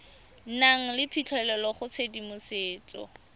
nang le phitlhelelo go tshedimosetso